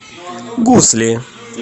гусли